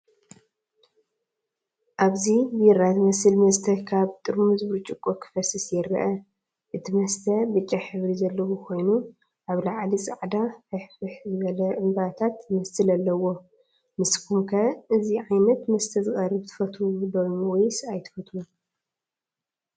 ኣብዚ ቢራ ዝመስል መስተ ካብ ጥርሙዝ ብርጭቆ ክፈስስ ይርአ። እቲ መስተ ብጫ ሕብሪ ዘለዎ ኮይኑ፡ ኣብ ላዕሊ ጻዕዳ፡ ፍሕፍሕ ዝበለ፡ ዕምባባ ዝመስል ኣለዎ። ንስኩም ከ እዚ ዓይነት መስተ ዝቐርብ ትፈትዉ ዶስ ወይስ ኣይትፈቱን?